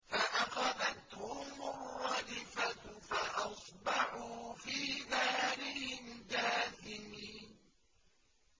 فَأَخَذَتْهُمُ الرَّجْفَةُ فَأَصْبَحُوا فِي دَارِهِمْ جَاثِمِينَ